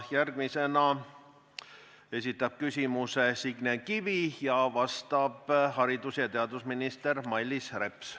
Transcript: Järgmisena esitab küsimuse Signe Kivi, vastab haridus- ja teadusminister Mailis Reps.